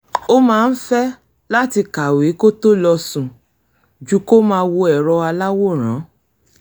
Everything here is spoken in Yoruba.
ó máa ń fẹ́ láti kàwé kó tó lọ sùn ju kó máa wo èrọ aláwòrán